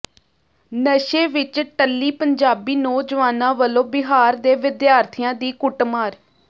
ਨਸ਼ੇ ਵਿੱਚ ਟੱਲੀ ਪੰਜਾਬੀ ਨੌਜਵਾਨਾਂ ਵੱਲੋਂ ਬਿਹਾਰ ਦੇ ਵਿਦਿਆਰਥੀਆਂ ਦੀ ਕੁੱਟਮਾਰ